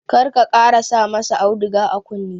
Kar ka ƙara sa ma sa auduga a kunne!